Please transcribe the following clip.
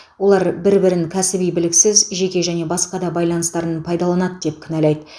олар бір бірін кәсіби біліксіз жеке және басқа да байланыстарын пайдаланады деп кінәлайды